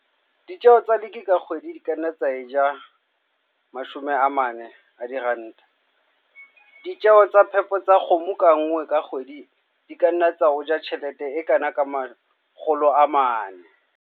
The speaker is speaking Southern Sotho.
Ditjeo tsa lick ka kgwedi di ka nna tsa eja R40. Ditjeo tsa phepo tsa kgomo ka nngwe ka kgwedi di ka nna tsa o ja tjhelete e kana ka R400.